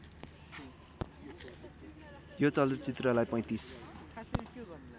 यो चलचित्रलाई ३५